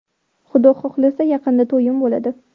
Xudo xohlasa, yaqinda to‘yim bo‘ladi.